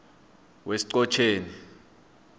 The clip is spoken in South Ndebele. wesiqhotjeni